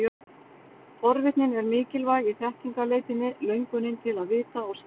Forvitnin er mikilvæg í þekkingarleitinni, löngunin til að vita og skilja.